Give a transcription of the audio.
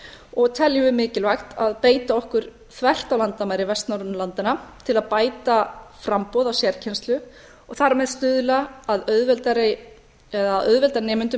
og teljum við mikilvægt að beita okkur þvert á landamæri vestnorrænu landanna til að bæta framboð á sérkennslu og þar með stuðla eða auðvelda nemendum með